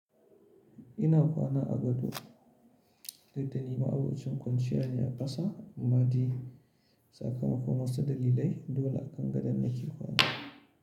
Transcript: Ina kwana a gado daidai ma'abucin kwanciya ne a ƙasa madi. Saka makonon sadalilai dole akan gadon da ke kwana.